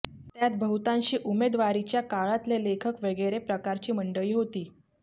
त्यात बहुतांशी उमेदवारीच्या काळातले लेखक वगैरे प्रकारची मंडळी होती